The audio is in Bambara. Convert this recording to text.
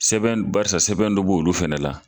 Sɛbɛn barisa sɛbɛn dɔ b'olu fɛnɛ la.